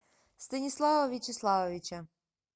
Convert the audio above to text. станислава вячеславовича